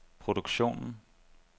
produktionen